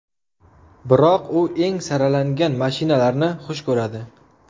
Biroq u eng saralangan mashinalarni xush ko‘radi.